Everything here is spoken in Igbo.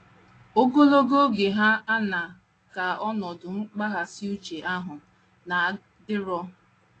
Ogologo oge hà aṅaa ka ọnọdụ mkpaghasị uche ahụ na - adịru?